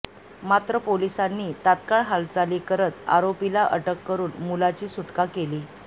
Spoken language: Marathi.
मात्र पोलिसांनी तात्काळ हालचाली करत आरोपीला अटक करून मुलाची सुटका केली